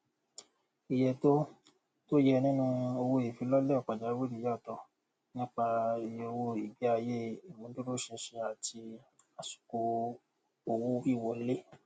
iye tó tó yẹ nínú owóìfilọlẹ pàjáwìrì yàtọ nípa iyeowó ìgbéayé ìmúdúróṣinṣin àti àsìkò owówíwọlé